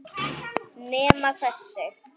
Nema þessi.